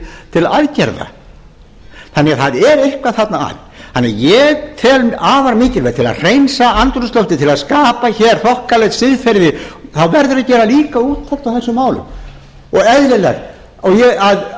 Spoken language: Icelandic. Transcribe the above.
til aðgerða þannig að það er eitthvað þarna að ég tel afar mikilvægi til að hreinsa andrúmsloftið til að skapa hér þokkalegt siðferði verði að gera líka úttekt á þessu málum og eðlilegt að